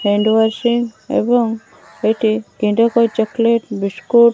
hand washing ଏବଂ ଏଇଟି chocolate biscuit --